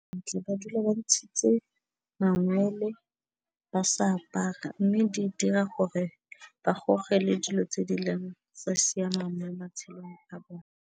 ba dula ba ntshitse mangwele ba sa apara mme di dira gore ba gogele dilo tse di sa siamang mo matshelong a bone.